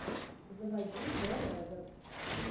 заводи дел рекордс